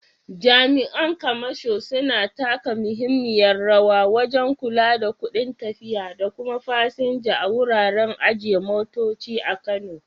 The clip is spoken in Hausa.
Jami’an kamasho suna taka muhimmiyar rawa wajen kula da kudin tafiya da kuma fasinja a wuraren ajiye motoci a Kano.